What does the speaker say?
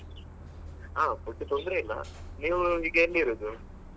ಹಾ food ತೊಂದ್ರೆ ಇಲ್ಲ ನೀವ್ ಈಗ ಎಲ್ಲಿ ಇರುದು.